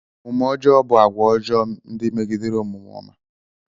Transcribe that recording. Omume ọjọọ bụ àgwà ọjọọ ndị megidere omume ọma.